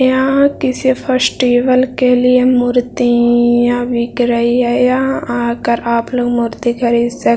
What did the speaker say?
यहाँ किसी फेस्टिवल के लिए मूर्तियाँ बिक रही है यहाँ आकर आप लोग मूर्ति खरीद सक --